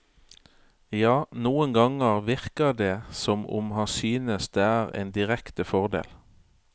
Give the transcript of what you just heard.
Ja, noen ganger virker det som om han synes det er en direkte fordel.